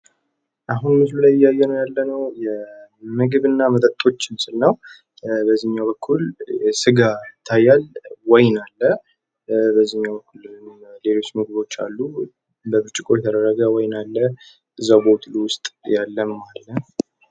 አሁን በምስሉ ላይ እያየነው ያለንው ምግብ እና መጠጦችን ነው። በዚህኛው በኩል ስጋ ይታያል። በዚህኛው በኩል ደግሞ ሌሎች ምግቦች አሉ። በብርጭቆ የተደረገ ወይን አለ። በቦትል ውስጥ ያለ ማለት ነው።